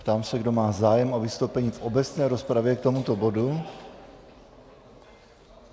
Ptám se, kdo má zájem o vystoupení v obecné rozpravě k tomuto bodu.